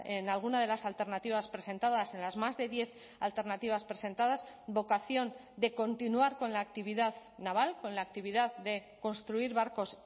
en alguna de las alternativas presentadas en las más de diez alternativas presentadas vocación de continuar con la actividad naval con la actividad de construir barcos